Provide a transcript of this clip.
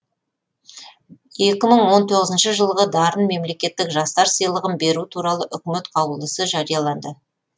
екі мың он тоғызыншы жылғы дарын мемлекеттік жастар сыйлығын беру туралы үкімет қаулысы жарияланды